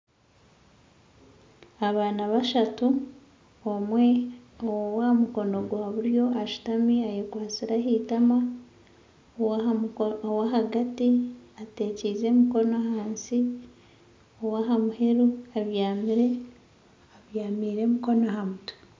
Abaana bashatu omwe ow'aha mukono gwa buryo ashutami ayekwatsire ah'itaama owa hagati ateekyize emikono ahansi ow'aha muheru abyamire, abyamiire emikono aha mutwe.